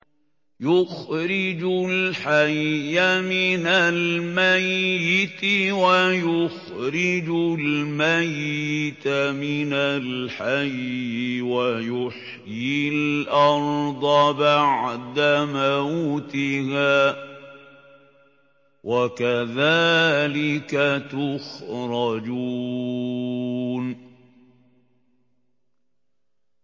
يُخْرِجُ الْحَيَّ مِنَ الْمَيِّتِ وَيُخْرِجُ الْمَيِّتَ مِنَ الْحَيِّ وَيُحْيِي الْأَرْضَ بَعْدَ مَوْتِهَا ۚ وَكَذَٰلِكَ تُخْرَجُونَ